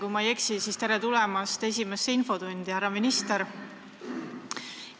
Kui ma ei eksi, siis: tere tulemast esimesse infotundi, härra minister!